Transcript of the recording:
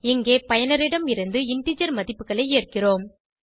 இங்கே பயனரிடம் இருந்து இன்டிஜர் மதிப்புகளை ஏற்கிறோம்